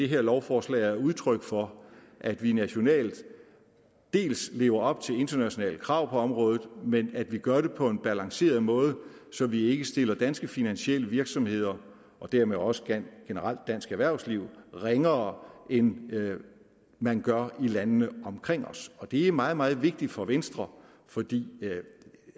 her lovforslag er udtryk for at vi nationalt lever op til internationale krav på området men at vi gør det på en balanceret måde så vi ikke stiller danske finansielle virksomheder og dermed også generelt dansk erhvervsliv ringere end man gør i landene omkring os det er meget meget vigtigt for venstre fordi